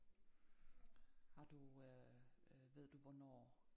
Har du øh øh ved du hvornår